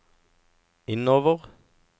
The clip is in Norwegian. innover